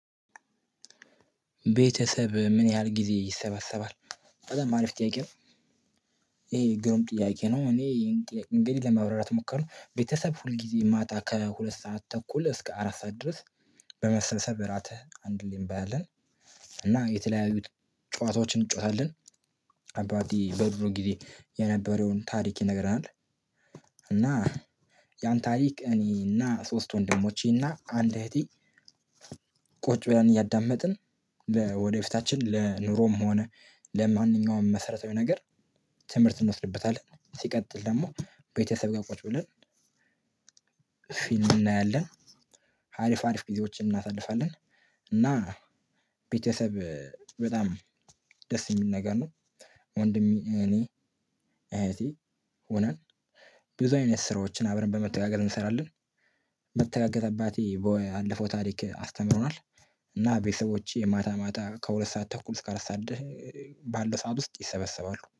ቤተሰብ ምን ያህል ጊዜ ይሰበሰባል? በጣም አሪፍ ጥያቄ ነው። ይሄ ግሩም ጥያቄ ነው፤ እኔ ይህን ጥያቄ እንግዲህ ለማብራራት ሞክራለው፤ ቤተሰብ ሁል ጊዜ ማታ ከሁለት ሰዓት ተኩል እስከ አራት ሰዓት ድረስ በመሰብሰብ እራት አንድ ላይ እንበላለን እና የተለያዩት ጨዋታዎችን እንጫወታለን። አባቴ በድሮ ጊዜ የነበረውን ታሪክ ይነግረናል እና ያን ታሪክ እኔና ሶስት ወንድሞቼና አንድ እህቴ ቁጭ ብለን እያዳመጥን ለወደፊታችን ለኑሮም ሆነ ለማንኛውም መሰረታዊ ነገር ትምህርት እንወስድበታለን። ሲቀጥል ደግሞ ቤተሰብ ጋር ቁጭ ብለን ፊልም እናያለን፤ አሪፍ አሪፍ ጊዜዎችን እናሳልፋለን እና ቤተሰብ በጣም ደስ የሚል ነገር ነው። ወንድሜ፣ እኔ፣ አያቴ ሆነን ብዙ አይነት ስራዎችን አብረን በመተጋገር እንሰራለን መተጋገዝ አባቴ ባለፈው ታሪክ አስተምሮናል እና ቤተሰቦቼ ማታ ማታ ከሁለት ሰዓት ተኩል እስከ አራት ሰዓት ድ ባለ ሰዓት ውስጥ ይሰበሰባሉ።